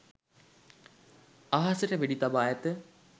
අහසට වෙඩි තබා ඇත